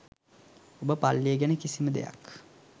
ඔබ පල්ලිය ගැන කිසිම දෙයක්